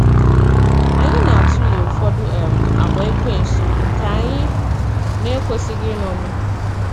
Anyị na atụle ụfọdụ um àgwà Ekwensu nke anyị na-ekwesịghị iṅomi.